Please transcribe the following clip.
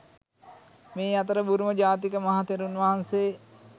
මේ අතර බුරුම ජාතික මහා තෙරුන් වහන්සේ